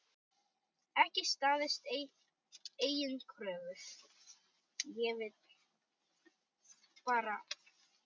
Ekki staðist eigin kröfur.